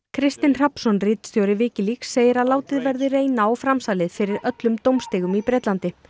Kristinn Hrafnsson ritstjóri Wikileaks segir að látið verði reyna á framsalið fyrir öllum dómstigum í Bretlandi